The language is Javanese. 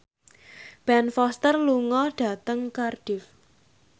Ben Foster lunga dhateng Cardiff